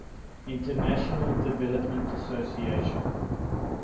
international development association